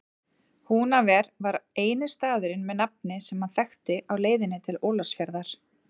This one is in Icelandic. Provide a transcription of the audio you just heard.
Húnaver var eini staðurinn með nafni sem hann þekkti á leiðinni til Ólafsfjarðar.